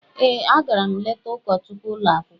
Ee, agara m leta ụkọchukwu ụlọ akwụkwọ.